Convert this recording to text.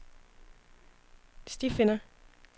stifinder